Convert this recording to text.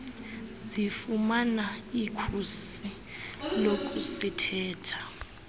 zifumana ikhusi lokusithela